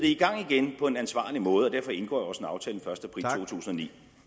i gang igen på en ansvarlig måde og derfor indgår